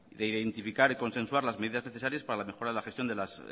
identificar y consensuar las medidas necesarias para la mejora de la gestión de las